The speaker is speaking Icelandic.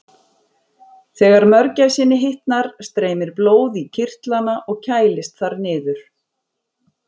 Þegar mörgæsinni hitnar streymir blóð í kirtlana og kælist þar niður.